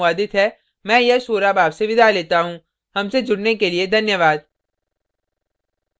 यह स्क्रिप्ट प्रभाकर द्वारा अनुवादित है मैं यश वोरा अब आपसे विदा लेता हूँ हमसे जुड़ने के लिए धन्यवाद